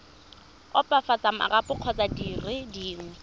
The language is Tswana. opafatsa marapo kgotsa dire dingwe